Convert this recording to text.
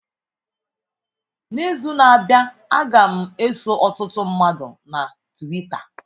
N'izu na-abịa, a ga m eso ọtụtụ mmadụ na Twita.